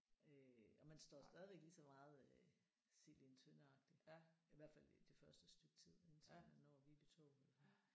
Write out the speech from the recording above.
Øh og man står stadigvæk lige så meget øh sild i en tønde agtigt i hvert fald i det første stykke tid indtil man når Viby Torv